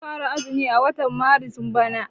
Za a fara azumi a watan maris bana.